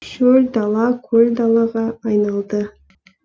шөл дала көл далаға айналды